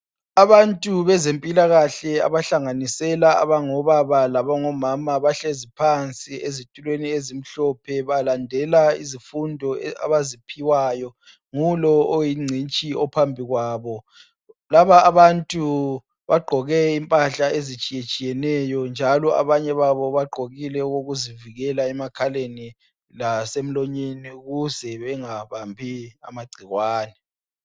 Abantu bezempilakahle, abahlanganisela abangobaba labomama. Bahlezi phansi, ezitulweni ezimhlophe. Balandela izifundo abaziphiwayo, ngulo oyingcitshi ophambi kwabo. Laba abantu bagqoke impahla ezitshiyatshiyeneyo, njalo abanye babo bagqoke okokuzivikela emakhaleni lasemlonyeni, ukuze bengabambi amagcikwane.